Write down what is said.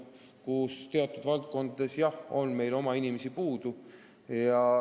Seal on teatud valdkondades meil oma inimesi puudu.